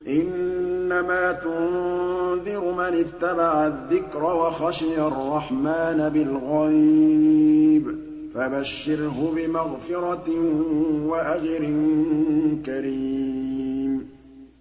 إِنَّمَا تُنذِرُ مَنِ اتَّبَعَ الذِّكْرَ وَخَشِيَ الرَّحْمَٰنَ بِالْغَيْبِ ۖ فَبَشِّرْهُ بِمَغْفِرَةٍ وَأَجْرٍ كَرِيمٍ